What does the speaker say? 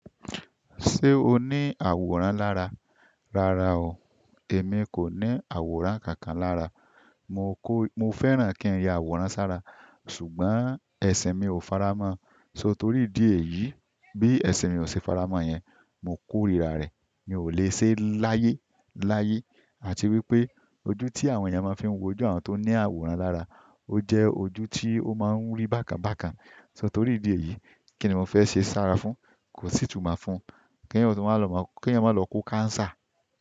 Ṣé o ní àwòrán lára? Rárá o, èmi kò ní àwòrán kankan lára, mo kó, mo fẹ́ràn kí n ya àwòrán sára ṣùgbọ́n ẹ̀sìn mi ò faramọ́ọ. So torí ìdí èyí bí ẹ̀sìn mi ò ṣe faramọ́ yẹn, mo kórira rẹ̀. Mi ò le ṣe láyé láyé àti wípé ojú tí àwọn èèyàn máa fi ń wojú àwọn tó ní àwòrán lára ó jẹ́ ojú tí ó máa ń rí bákan bákan. So torí ìdí èyí kí ni mo fẹ́ ṣe sára fún? Kò sí ìtumọ̀ fún. Kí èèyàn ó tún wá lọ mọ, ki èèyàn máa lọ kó cancer.